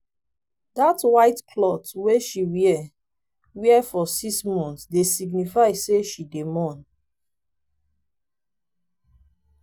dat white clot wey she wear wear for six mont dey signify sey she dey mourn.